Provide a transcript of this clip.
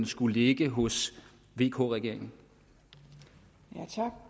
skulle ligge hos vk regeringen